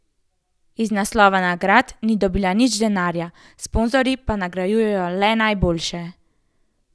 Iz naslova nagrad ni dobil nič denarja, sponzorji pa nagrajujejo le najboljše.